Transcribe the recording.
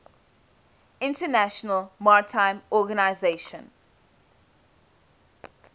international maritime organization